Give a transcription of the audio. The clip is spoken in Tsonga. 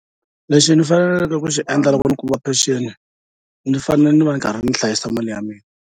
Lexi ndzi faneleke ku xi endla loko ni kuma pension ndzi fanele ndzi va ndzi karhi ndzi hlayisa mali ya mina.